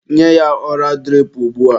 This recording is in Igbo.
Nye ya ọra dirip ugbua!.